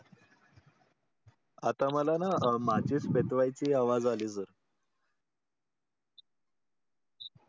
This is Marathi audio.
आता मला ना माझ्याच आवाज अली sir